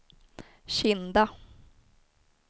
Kinda